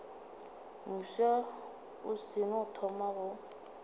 mofsa o seno thoma go